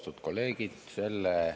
Austatud kolleegid!